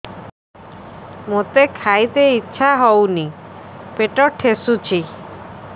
ମୋତେ ଖାଇତେ ଇଚ୍ଛା ହଉନି ପେଟ ଠେସୁଛି